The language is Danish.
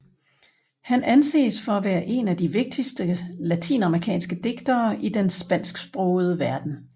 Han anses for at være en af de vigtigste latinamerikanske digtere i den spansksprogede verden